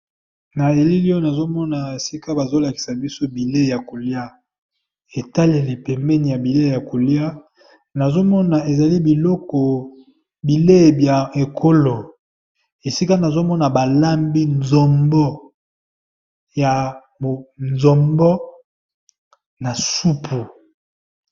Na elili oyo na zomona esika bazol akisa biso bilei ya kolia e taleli pembrni ya bilei ya kolia, nazo mona ezali biloko, bilei bya mikolo esika nazomona ba lambi nzombo na supu .